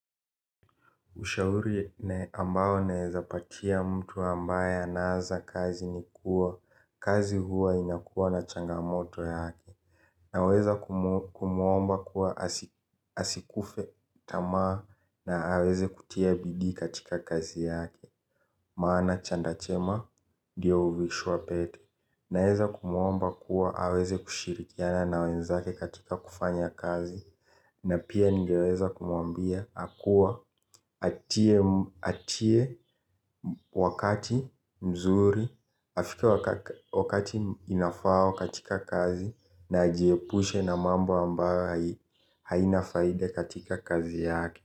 Ushauri ambao naweza patia mtu ambaye anaanza kazi ni kuwa, kazi huwa inakuwa na changamoto yake. Naweza kumuomba kuwa asikufe tamaa na aweze kutia bidii katika kazi yake. Maana chanda chema ndiyo huvishwa pete. Naeza kumuomba kuwa aweze kushirikiana na wenzake katika kufanya kazi. Na pia ningeweza kumwambia hakuwa, atie wakati mzuri. Afike wakati inafaa katika kazi na ajiepushe na mambo ambayo haina faida katika kazi yake.